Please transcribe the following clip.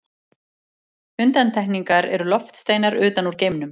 Undantekningar eru loftsteinar utan úr geimnum.